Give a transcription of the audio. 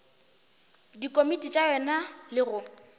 dikomiti tša yona le go